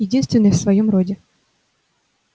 единственный в своём роде